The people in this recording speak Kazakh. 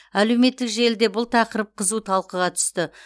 әлеуметтік желіде бұл тақырып қызу талқыға түсті